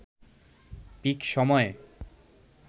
pick সময়ে